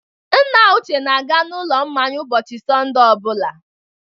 Nna Uche na-aga n'ụlọ mmanya ụbọchị Sọnde ọ bụla.